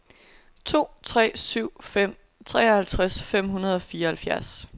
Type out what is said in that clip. to tre syv fem treoghalvfjerds fem hundrede og fireoghalvfjerds